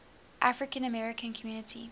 african american community